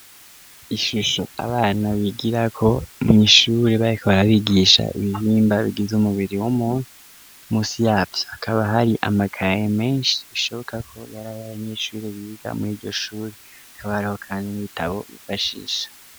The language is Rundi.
Ishusho abana bigira ko mw'ishuri barko barabigisha ibihimba ryiza umubiri wumuntu musi yafyo akaba hari amakaye menshi bishoboka ko yari ari abanyechuri biga muri iryo shuri akabareho, kandi n'ibitabo bifashisha.